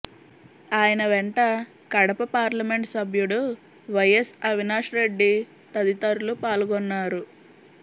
ఆయన వెంట కడప పార్లమెంట్ సభ్యుడు వైఎస్ అవినాష్రెడ్డి తదితరులు పాల్గొన్నారు